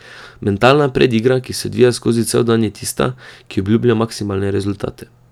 Mentalna predigra, ki se odvija skozi cel dan je tista, ki obljublja maksimalne rezultate.